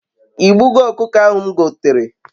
I gbugo okuko ahu m gotere?